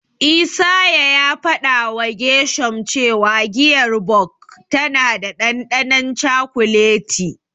Isaiah ya fadawa Gershom cewa giyar Bok tana da dandanon cakuleti.